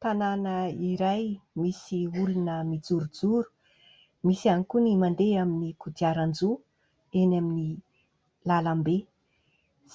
Tanàna iray misy olona mijorojoro, misy ihany koa ny mandeha amin'ny kodiaran-droa eny amin'ny lalambe